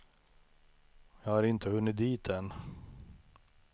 Jag har inte hunnit dit än.